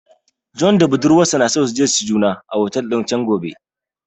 John da budurwarsa na so su je su ci juna a otel din chan gobe